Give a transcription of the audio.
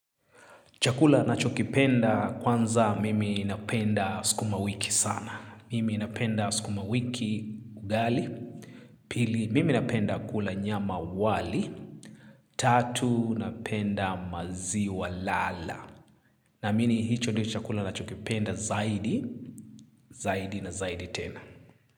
Chakula nacho kipenda kwanza mimi napenda sikuma wiki sana. Mimi ilnapenda sukuma wiki ugali. Pili mimi napenda kula nyama wali. Tatu napenda maziwa lala. Namini hicho ndio chakula nacho kipenda zaidi. Zaidi na zaidi tena.